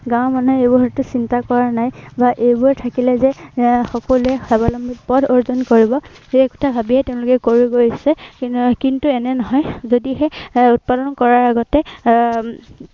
গাঁৱৰ মানুহে এইবোৰলৈতো চিন্তা কৰা নাই। এৰ বা এইবোৰ থাকিলে যে এৰ সকলোৱে স্বাৱলম্বী পথ অৰ্জন কৰিব, সেই কথা ভাবিয়েই তেওঁলোকে কৰি গৈ আছে, কিন্তু এনে নহয়, যদিহে এৰ উৎপাদন কৰাৰ আগতে আহ